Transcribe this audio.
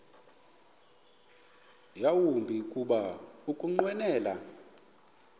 yawumbi kuba ukunqwenela